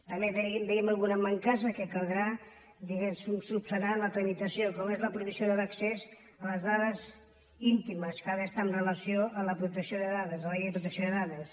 també veiem algunes mancances que caldrà diguem ne solucionar en la tramitació com és la prohibició de l’accés a les dades íntimes que ha d’estar en relació amb la protecció de dades amb la llei de la protecció de dades